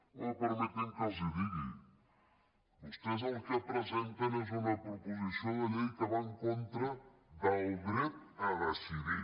home permetin que els ho digui vostès el que presenten és una proposició de llei que va en contra del dret a decidir